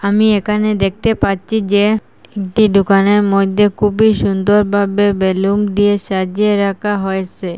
আমি এখানে দেখতে পাচ্ছি যে একটি দোকানের মধ্যে খুবই সুন্দর ভাবে বেলুন দিয়ে সাজিয়ে রাখা হয়েসে।